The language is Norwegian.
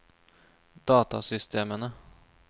datasystemene